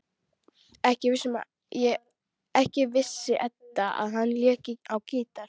Ekki vissi Edda að hann léki á gítar.